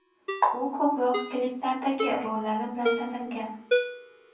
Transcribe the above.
U ko‘proq kliplardagi rollari bilan tanilgan.